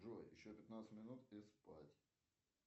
джой еще пятнадцать минут и спать